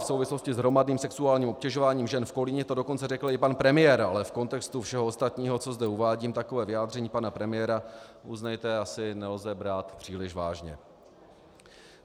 V souvislosti s hromadným sexuálním obtěžováním žen v Kolíně to dokonce řekl i pan premiér, ale v kontextu všeho ostatního, co zde uvádím, takové vyjádření pana premiéra, uznejte, asi nelze brát příliš vážně.